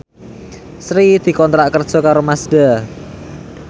Sri dikontrak kerja karo Mazda